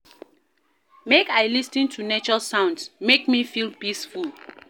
Make I lis ten to nature sounds, make me feel peaceful